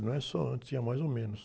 Não é só antes, tinha mais ou menos.